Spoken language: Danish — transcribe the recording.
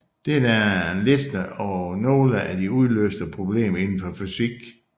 Dette er en liste over nogle af de uløste problemer indenfor fysik